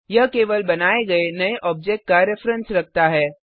यह केवल बनाये गये नये आब्जेक्ट का रिफ्रेंस रखता है